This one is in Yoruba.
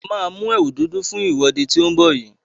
A maa mú ẹ̀wù dúdú fún ìwọ́de tí ó ń bọ̀ yìí.